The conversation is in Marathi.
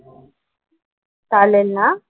चालेल ना?